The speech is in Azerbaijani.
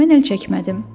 Mən əl çəkmədim.